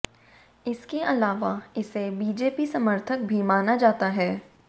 इसके अलावा इसे बीजेपी समर्थक भी माना जाता है